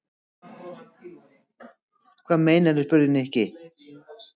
Hvað meinarðu? spurði Nikki.